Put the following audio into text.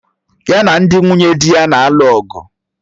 Ya na ndị nwunye dị ya na-alụ ọgụ